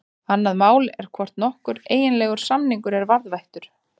Annað mál er hvort nokkur eiginlegur samningur er varðveittur.